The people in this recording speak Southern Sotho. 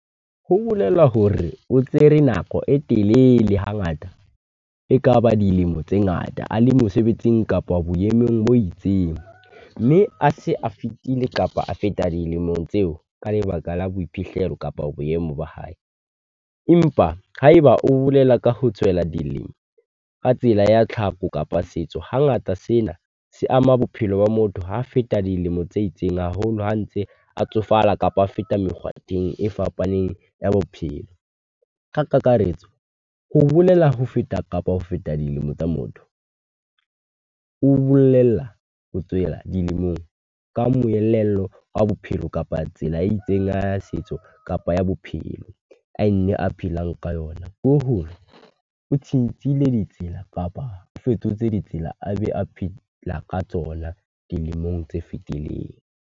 Ho bolela hore o tsere nako e telele hangata, e kaba dilemo tse ngata a le mosebetsing kapa boemong bo itseng. Mme a se a fetile kapa a feta dilemong tseo, ka lebaka la boiphihlelo kapa boemo ba hae. Empa ha e ba o bolela ka ho tswela dilemo ka tsela ya tlhaho kapa setso, hangata sena se ama bophelo ba motho ha a feta dilemo tse itseng. Haholo ha ntse a tsofala kapa ho feta mekgwateng e fapaneng ya bophelo. Ka kakaretso, ho bolela ho feta kapa ho feta dilemo tsa motho. O bolella ho tswela dilemong ka moelelo wa bophelo kapa tsela e itseng a setso kapa ya bophelo a nne a phelang ka yona. Ho hong tjhentjhele ditsela kapa o fetotse ditsela, a be a phela ka tsona dilemong tse fetileng.